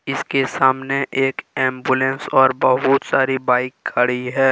इसके सामने एक एंबुलेंस और बहुत सारी बाइक खड़ी है।